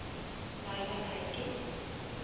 Laila Teigen